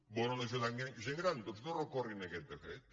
volen ajudar la gent gran doncs no recorrin contra aquest decret